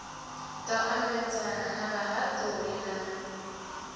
ḓo ambedzana na vhahaṱuli na